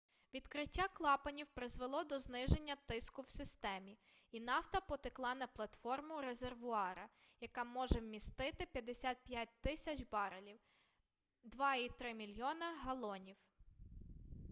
відкриття клапанів призвело до зниження тиску в системі і нафта потекла на платформу резервуара яка може вмістити 55 000 барелів 2,3 мільйона галонів